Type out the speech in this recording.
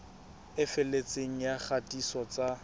e felletseng ya kgatiso tsa